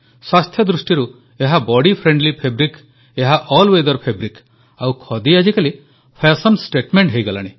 ସ୍ୱାସ୍ଥ୍ୟ ଦୃଷ୍ଟିରୁ ଏହା ବଡି ଫ୍ରେଣ୍ଡଲି ଫାବ୍ରିକ୍ ଏହା ଆଲ୍ ୱେଥର ଫାବ୍ରିକ୍ ଆଉ ଖଦି ଆଜିକାଲି ଫ୍ୟାଶନ ଷ୍ଟେଟମେଣ୍ଟ ହୋଇଗଲାଣି